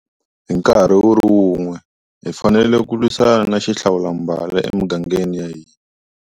Hi nkarhi wu ri wun'we, hi fanele ku lwisana na xihlawulambala emigangeni ya hina.